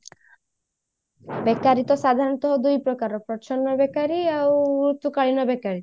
ବେକାରି ତ ସାଧାରଣତ ଦୁଇ ପ୍ରକାର ପ୍ରଚ୍ଛନ୍ନ ବେକାରି ଆଉ ଋତୁ କାଳୀନ ବେକାରି